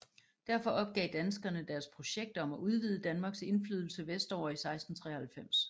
Derfor opgav danskerne deres projekt om at udvide Danmarks indflydelse vestover i 1693